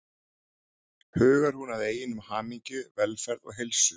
Hugar hún að eigin hamingju, velferð og heilsu?